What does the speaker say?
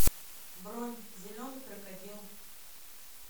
бронь зеленый крокодил